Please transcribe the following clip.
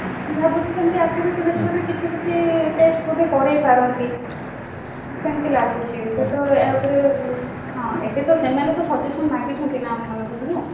ଭାବୁଛି ସେମିତି activity method ରେ କିଛି କିଛି test ବୋଧେ କରେଇ ପାରନ୍ତି ସେମିତି ଲାଗୁଛି ସେ ତ ୟା ଉପରେ ହଁ ଏବେ ତ ସେମାନେ ତ suggestion ମାଗିଛନ୍ତି ନା ଆମ ମାନଙ୍କଠାରୁ